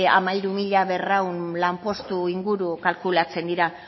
hamairu mila berrehun lanpostu inguru kalkulatzen dira